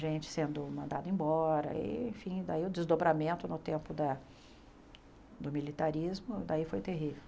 Gente sendo mandada embora, enfim, daí o desdobramento no tempo da do militarismo, daí foi terrível.